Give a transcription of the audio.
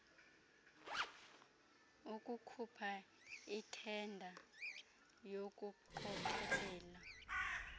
ukhupha ithenda yokuqokelelwa